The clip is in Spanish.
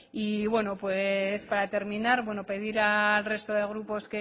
y bueno para terminar pedir al resto de grupos